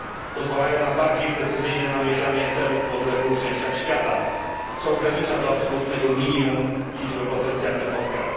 Pozwalają na bardziej precyzyjne namierzanie celów w odległych częściach świata, co ogranicza do absolutnego minimum liczbę potencjalnych ofiar.